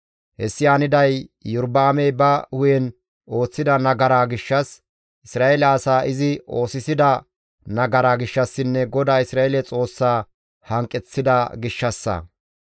Hessi haniday Iyorba7aamey ba hu7en ooththida nagaraa gishshas, Isra7eele asaa izi oosisida nagaraa gishshassinne GODAA Isra7eele Xoossaa hanqeththida gishshassa.